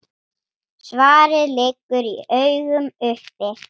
Svarið liggur í augum uppi.